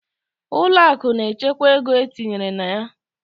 Ụlọ akụ na-echekwa ego e tinyere na ya.